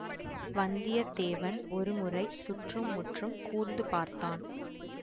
வந்தியத்தேவன் ஒரு முறை சுற்றும் முற்றும் கூர்ந்து பார்த்தான்